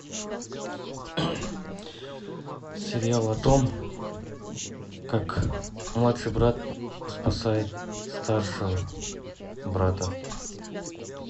сериал о том как младший брат спасает старшего брата